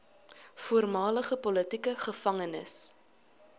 voormalige politieke gevangenes